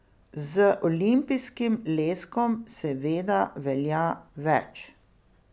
Z olimpijskim leskom seveda velja več.